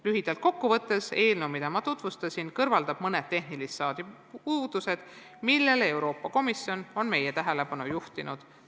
Lühidalt kokku võttes: eelnõu, mida ma tutvustasin, kõrvaldab mõned tehnilist laadi puudused, millele Euroopa Komisjon on meie tähelepanu juhtinud.